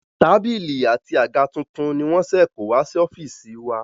Tábìlì àti àga tuntun ni wọ́n ṣe kó wá sí ọ́fíìsì wa.